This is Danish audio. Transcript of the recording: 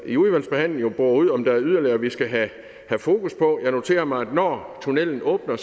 i udvalgsbehandlingen bore ud om der er yderligere vi skal have fokus på jeg noterer mig at der når tunnellen åbner